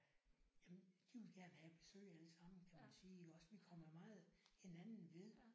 Jamen de vil gerne have besøg alle sammen kan man sige iggås vi kommer meget hinanden ved